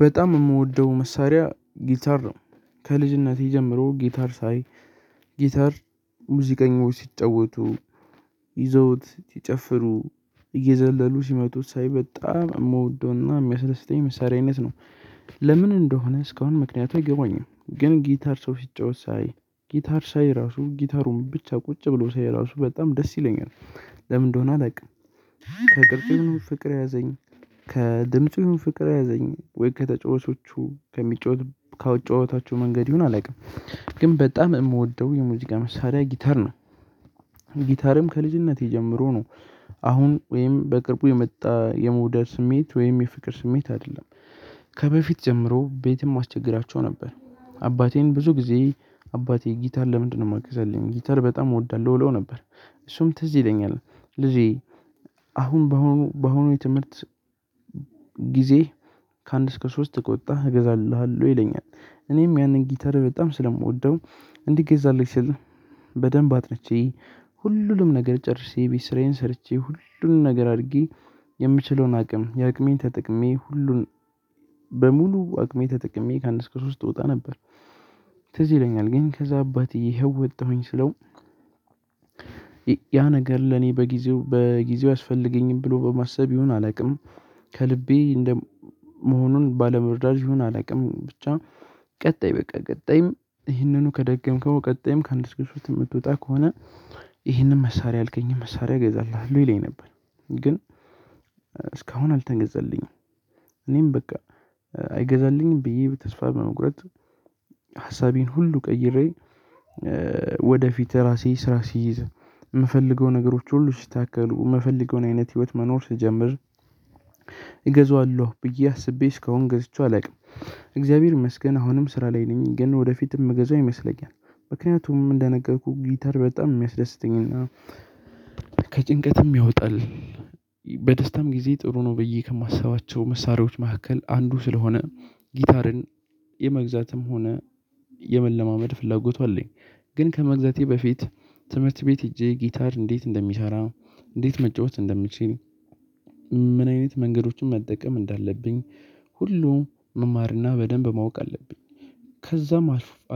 በጣም የምወደው መሳሪያ ጊተር ነው። ከልጅነቴ ጀምሮ ጊተር ሳይ ጊታር ሙዚቀኞች ሲጫወቱ፤ ይዘውት ሲጨፍሩ፤ እየዘለሉ ሲመጡ፤ ሳይበጣ መውዶና የሚያሰለስተኝ መሳሪያነት ነው ለምን እንደሆነ እስካሁን ምክንያቱ አገባኛም። ግን ጊታር ሰው ሲጫወት ሳይ ጊታር ሳይ ራሱ ጊታሩን ብቻ ቁጭ ብሎ ሳይ ራሱ በጣም ደስ ይለኛል። ምን እንደሆነ አላውቅም ከቅርጹ ይሆን ፍቅር የያዘኝ ከድምጹ ፍቅር ያዘኝ ወይ ከተጫወቾቹ ከሚጫወቱ ካጨዋወታቸው መንገድ ይሁን አላውቅም። ግን በጣም የምወደው የሙዚቃ መሳሪያ ጊታር ነው ጊታርም ከልጅነቴ ጀምሮ ነው። አሁን ወይም በቅርቡ የመጣ የመውደድ ስሜት ወይም የፍቅር ስሜት አይደለም። ከበፊት ጀምሮ ቤትም አስቸግራቸው ነበር አባቴን ብዙ ጊዜ አባቴ ጊታር ለምንድነው የማገዛል? ጊታር በጣም እወዳለሁ እእለው ነበር እሱም ትዝ ይለኛል ልጄ አሁን በአሁኑ በአሁኑ የትምህርት ጊዜ ከአንድ እስከ ሶስት ከወጣህ እገዛልሃለሁ ይለኛል እኔም ያንን ጊተር በጣም ስለምወደው እንዲገዛልኝ ስል በደንብ አጥንቼ ሁሉንም ነገር ጨርሼ፤ የቤት ስራዬን ጨርሼ ሁሉንም ነገር አድርጊ የምችለውን አቅም የአቅሜን ተጠቅሜ ሁሉን በሙሉ አቅሜ ተጠቅሜ ከአንድ እሰከ ሶስት ውስጥ እወጣ ነበር ትዝ ይለኛል ግን ከዛ አባቴ ይሄው ወጣሁኝ ስለው ያ ነገር ለኔ በጊዜው በጊዜው ያስፈልገኝም ብሎ በማሰብ ይሁን አላውቅም ከልቤ እንደ መሆኑን ባለመርዳት ይሁን አላውቅም ብቻ ቀጣይ በቃ ቀጣይም ይህንኑ ከደገምከው ቀጣይም ከአንድ እሰከ ሦስትውስጥ የምትወጣ ከሆነ ይሄንን መሳሪያ ያልከኝም መሳሪያ እገዛልሃለሁ ይለኝ ነበር። ግን እስካሁን አልተገዛልኝም እኔም በቃ አይገዛልኝም ብዬ በተስፋ በመቁረጥ ሀሳቤን ሁሉ ቀይሬ ወደፊት ራሴ ስራ ሲይዝ የምፈልገው ነገሮች ሁሉ ሲስተካከሉ የምፈልገውን አይነት ህይወት መኖር ሲጀምር እገዛዋለሁ ብዬ አስቤ እስከሆን ገዝቼው አላውቅም። እግዚአብሔር ይመስገን አሁንም ስራ ላይ ነኝ ግን ወደፊትም ምገዛው ይመስለኛል። ምክንያቱም እንደነገርኩህ ጊታር በጣም የሚያስደስተኝ እና ከጭንቀትም ያወጣል በደስታም ጊዜ ጥሩ ነው ብዬ ከማስባቸው መሳሪያዎች መካከል አንዱ ስለሆነ ጊታርን የመግዛትም ሆነ የመለማመድ ፍላጎቱ አለኝ። ግን ከመግዛቴ በፊት ትምህርት ቤት ሄጄ ጊታር እንዴት እንደሚሰ፤ እንዴት መጫወት እንደምችል፤ ምን አይነት መንገዶችን መጠቀም እንዳለብኝ ሁሉም መማርና በደንብ ማወቅ አለብኝ። ከዛም